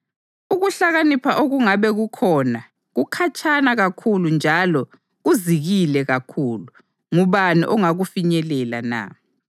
Ukuhlakanipha okungabe kukhona, kukhatshana kakhulu njalo kuzikile kakhulu: ngubani ongakufinyelela na?